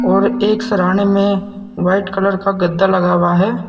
और एक सरहाने में वाइट कलर का गद्दा लगा हुआ है।